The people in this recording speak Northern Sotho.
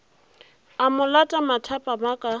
a mo lata mathapama ka